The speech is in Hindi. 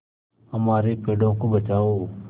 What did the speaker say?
हमारे पेड़ों को बचाओ